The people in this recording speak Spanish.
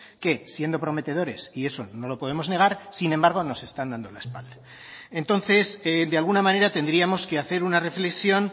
que siendo prometedores y eso no lo podemos negar sin embargo nos están dando la espalda entonces de alguna manera tendríamos que hacer una reflexión